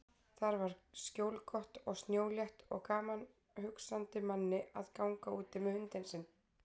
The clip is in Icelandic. Þar var skjólgott og snjólétt og gaman hugsandi manni að ganga úti með hundinn sinn.